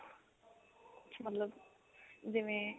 ਉਸ ਚ ਮਤਲਬ ਜਿਵੇਂ